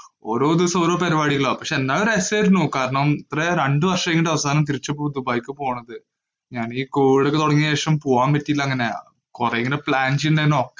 ഓരോ ദിവസവും ഓരോ പരിപാടികളാ. പക്ഷേ, എന്നാലും രസമായിരുന്നു. കാരണം രണ്ടു വര്‍ഷം അവസാനം തിരിച്ചു പോയി ദുബായിക്ക് പോണത്. ഞാനീ covid തുടങ്ങിയ ശേഷം പോവാന്‍ പറ്റീല അങ്ങനെ. കൊറേ ഇങ്ങനെ plan ചെയ്യൂന്നാനു